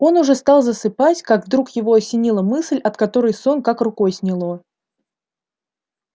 он уже стал засыпать как вдруг его осенила мысль от которой сон как рукой сняло